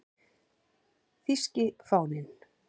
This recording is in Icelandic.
Þýski fáninn